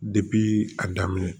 a daminɛ